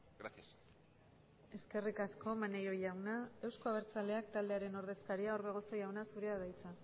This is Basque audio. gracias eskerrik asko maneiro jauna euzko abertzaleak taldearen ordezkaria orbegozo jauna zurea da hitza